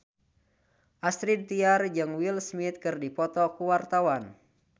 Astrid Tiar jeung Will Smith keur dipoto ku wartawan